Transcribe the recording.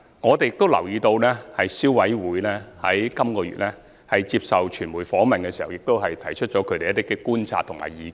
我們亦留意到，消委會在本月接受傳媒訪問時亦提出了一些觀察和意見。